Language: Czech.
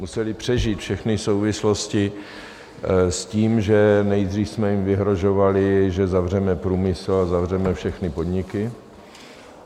Museli přežít všechny souvislosti s tím, že nejdříve jsme jim vyhrožovali, že zavřeme průmysl a zavřeme všechny podniky.